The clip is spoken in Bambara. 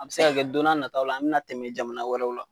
An bɛ se ka kɛ don n'a nataaw la an bɛna tɛmɛ jamana wɛrɛw la.